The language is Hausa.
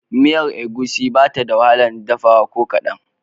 Miyan Egusi ba ta da wahalar dafawa ko kaɗan